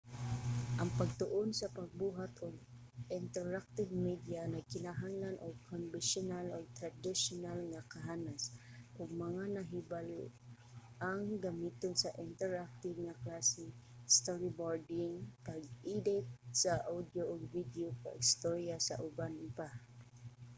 ang pagtuon sa pagbuhat ug interactive media nagkinahanglan og konbensiyonal ug tradisyonal nga kahanas ug mga nahibal-ang gamiton sa interactive nga klase storyboarding pag-edit sa audio ug video pag-storya ug uban pa